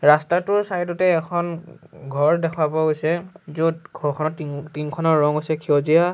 ৰাস্তাটোৰ চাইড তে এখন ঘৰ দেখা পোৱা গৈছে য'ত ঘৰখনৰ টিংখনৰ ৰং হৈছে সেউজীয়া।